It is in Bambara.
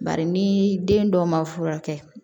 Bari ni den dɔ ma furakɛ